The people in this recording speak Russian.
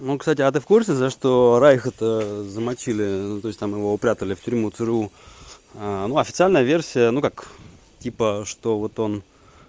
ну кстати а ты в курсе за что райха то замочили то есть там его упрятали в тюрьму цру ну официальная версия ну как типа что вот он